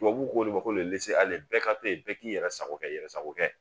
Tubabu ko de ko bɛɛ ka to yen bɛɛ k'i yɛrɛ sago kɛ i yɛrɛ sago kɛ